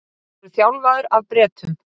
Voru þjálfaðir af Bretum